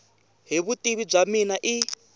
hi vutivi bya mina i